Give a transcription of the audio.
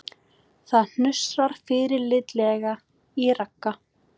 Það hnussar fyrirlitlega í Ragga